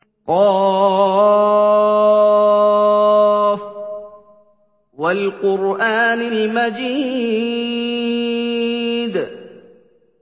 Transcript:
ق ۚ وَالْقُرْآنِ الْمَجِيدِ